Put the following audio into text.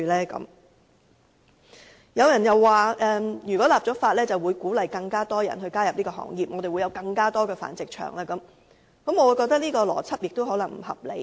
此外，亦有人說一旦立法，會鼓勵更多人加入這個行業，導致更多繁殖場出現，我覺得這個邏輯同樣不合理。